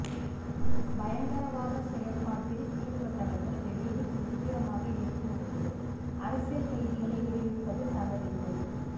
பயங்கரவாதச் செயற்பாட்டில் ஈடுபட்டவர்கள் வெளியில் சுதந்திரமாக இருக்கும் போது அரசியல் கைதிகளை விடுவிப்பது தவறில்லை